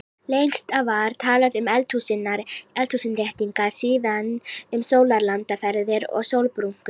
Lengst af var talað um eldhúsinnréttingar, síðan um sólarlandaferðir og sólbrúnku.